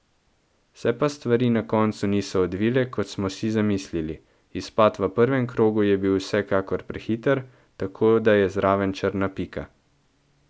Se pa stvari na koncu niso odvile, kot smo si zamislili, izpad v prvem krogu je bi vsekakor prehiter, tako da je zraven črna pika.